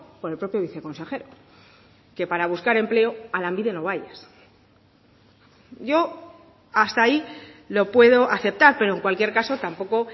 por el propio viceconsejero que para buscar empleo a lanbide no vayas yo hasta ahí lo puedo aceptar pero en cualquier caso tampoco